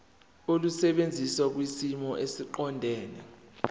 olusebenza kwisimo esiqondena